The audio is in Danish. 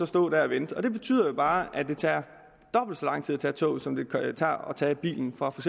stå der og vente det betyder jo bare at det tager dobbelt så lang tid at tage toget som det tager at tage bilen fra for